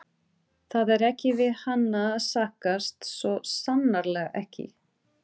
Það er ekki við hana að sakast, svo sannarlega ekki.